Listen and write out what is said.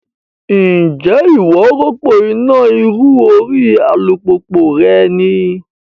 Ǹjẹ́ ìwọ rọ́pò iná ìrù orí alùpùpù rẹ rí?